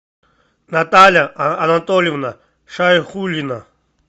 наталья анатольевна шайхуллина